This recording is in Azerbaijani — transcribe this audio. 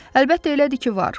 Əlbəttə elədir ki, var,